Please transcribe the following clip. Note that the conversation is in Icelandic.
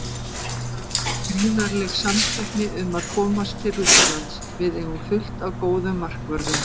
Það er gríðarleg samkeppni um að komast til Rússlands, við eigum fullt af góðum markvörðum.